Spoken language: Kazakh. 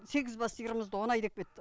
сегіз бас сиырымызды оны айдап кетті